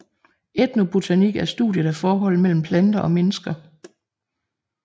Etnobotanik er studiet af forholdet mellem planter og mennesker